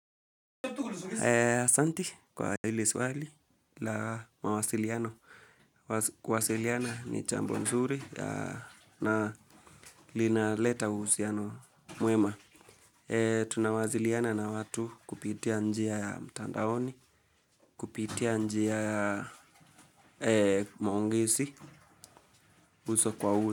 Asanti kwa hili swali la mawasiliano. Kuwasiliana ni jambo nzuri na linaleta uhusiano mwema. Tunawasiliana na watu kupitia njia ya mtandaoni, kupitia njia ya maongezi uso kwa uso.